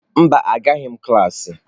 Mba, Agaghị m klas.